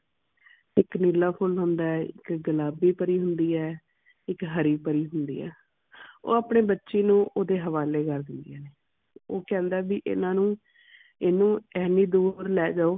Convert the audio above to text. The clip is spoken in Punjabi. ਇਕ ਨੀਲਾ ਫੁੱਲ ਹੁੰਦਾ ਹੈ ਇਕ ਗੁਲਾਬੀ ਪਰੀ ਹੁੰਦੀ ਹੈ ਇਕ ਹਰੀ ਪਰੀ ਹੁੰਦੀ ਹੈ। ਉਹ ਆਪਣੇ ਬੱਚੀ ਨੂੰ ਉਦੇ ਹਵਾਲੇ ਕਰ ਦਿੰਦਿਆਂ ਨੇ। ਉਹ ਕਹਿੰਦਾ ਵੀ ਇਨਾ ਨੂੰ ਏਨੂੰ ਇੰਨੀ ਦੂਰ ਲੈ ਜਾਓ